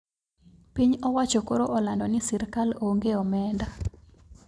Piny owacho koro olando ni sirkal onge omenda